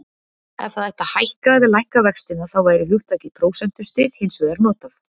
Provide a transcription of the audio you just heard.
Ef það ætti að hækka eða lækka vextina þá væri hugtakið prósentustig hins vegar notað.